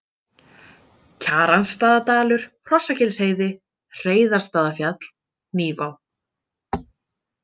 Kjaransstaðadalur, Hrossagilsheiði, Hreiðarsstaðafjall, Hnífá